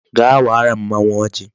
Gaa wara mmanwu ojii